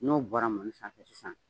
N'o bɔra mɔni sanfɛ sisan